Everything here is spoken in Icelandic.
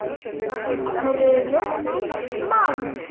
hrumur maður.